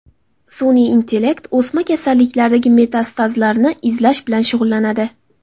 Sun’iy intellekt o‘sma kasalliklaridagi metastazlarni izlash bilan shug‘ullanadi.